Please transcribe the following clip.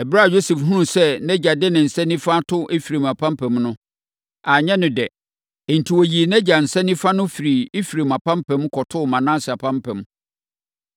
Ɛberɛ a Yosef hunuu sɛ nʼagya de ne nsa nifa ato Efraim apampam no, anyɛ no dɛ. Enti, ɔyii nʼagya nsa nifa no firii Efraim apampam, kɔtoo Manase apampam.